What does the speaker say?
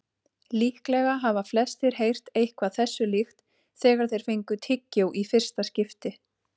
Líklega hafa flestir heyrt eitthvað þessu líkt þegar þeir fengu tyggjó í fyrsta skipti.